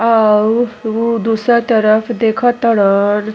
और उ दूसर तरफ देख तड़न ।